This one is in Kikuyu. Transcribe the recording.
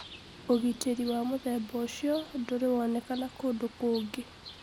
ũgitĩri wa mũthemba ũcio ndurĩwoneka kũndũ kũngĩ